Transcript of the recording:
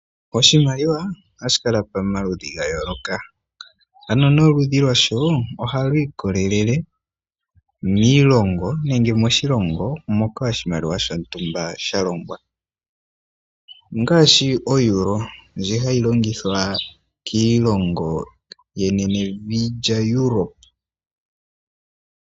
Oshimaliwa ohashi kala pamaludhi ga yooloka, ano noludhi lwasho ohalu ikolelele miilongo nenge moshilongo moka oshimaliwa shontumba sha longwa ngaashi oeuro ndjoka hayi longithwa kiilongo yenenevi lyaEuropa.